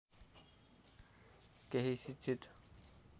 केही शिक्षित